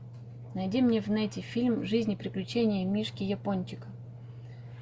найди мне в нете фильм жизнь и приключения мишки япончика